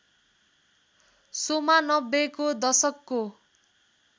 शोमा नब्बेको दशकको